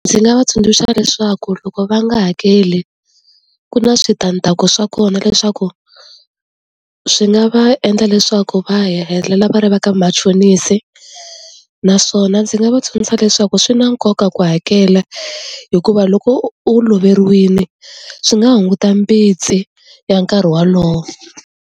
Ndzi nga va tsundzuxa leswaku loko va nga hakeli ku na switandzhaku swa kona leswaku swi nga va endla leswaku va helela va ri vaka machonisi naswona ndzi nga va tsundzuxa leswaku swi na nkoka ku hakela hikuva loko u loveriwini swi nga hunguta mbitsi ya nkarhi wolowo.